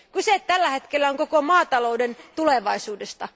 Kyse on tällä hetkellä koko maatalouden tulevaisuudesta.